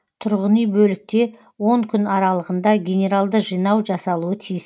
тұрғыни бөлікте он күн аралығында генералды жинау жасалуы тиіс